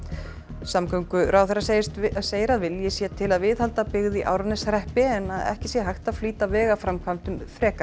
samgönguráðherra segir að segir að vilji sé til að viðhalda byggð í Árneshreppi en ekki sé hægt að flýta vegaframkvæmdum frekar